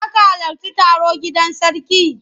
Za ka halarci taro gidan sarki?